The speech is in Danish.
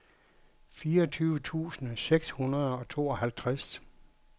fireogtyve tusind seks hundrede og tooghalvtreds